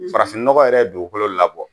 Farafinnɔgɔ yɛrɛ dugukolo labɔ